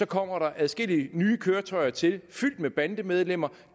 kommer adskillige nye køretøjer til fyldt med bandemedlemmer